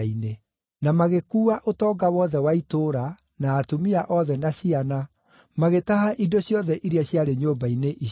Na magĩkuua ũtonga wothe wa itũũra, na atumia othe na ciana, magĩtaha indo ciothe iria ciarĩ nyũmba-inĩ icio.